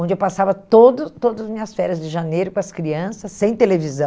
Onde eu passava todo todas as minhas férias de janeiro com as crianças, sem televisão.